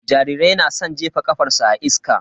Jarirai na san jefa ƙafarsu a iska.